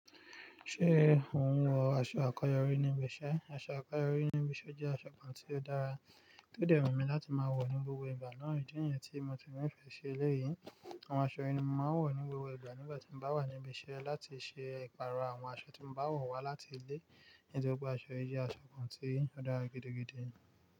Ṣé òun wọ aṣọ àkọ́yọrí níbi iṣẹ́? Aṣọ àkọyọrí níbi iṣẹ́ jẹ́ aṣọ kan tí ó dára, tí ó de wu mí láti máa wọ̀ ní gbogbo ìgbà náà. Idí niyẹn tí mo ti nífẹ̀ẹ́ ṣi eléyìí. Àwọn aṣọ yìí ni mo máa ń wọ̀ ní gbogbo ìgbà nígbà tí n bá wà níbi iṣẹ́ láti ṣe ìpààrọ̀ àwọn aṣọ tí mo bá wọ̀ wá láti ilé. Nítorí pé aṣọ yìí jẹ́ aṣọ kan tí ó dára gidi gidi.